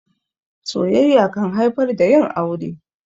Soyayya kan haifar da yin aure.